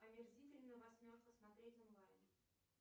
омерзительная восьмерка смотреть онлайн